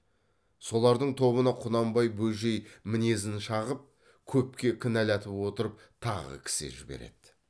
солардың тобына құнанбай бөжей мінезін шағып көпке кінәлатып отырып тағы кісі жіберді